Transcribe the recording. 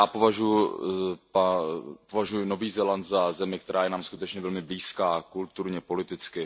Já považuju Nový Zéland za zemi, která je nám skutečně velmi blízká, kulturně i politicky.